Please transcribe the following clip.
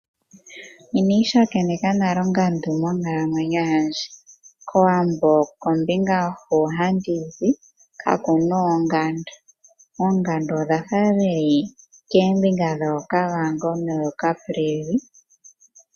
Inandi tsakaneka nale ongandu monkalamwenyo yandje. Kowambo Kombinga hu handi zi kakuna oongandu. Oondangu odha fa dhili koombinga dhooKavango nooCaprivi.